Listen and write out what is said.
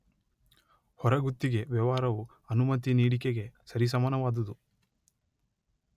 ಹೊರಗುತ್ತಿಗೆ ವ್ಯವಹಾರವು ಅನುಮತಿ ನೀಡಿಕೆಗೆ ಸರಿಸಮಾನವಾದುದು.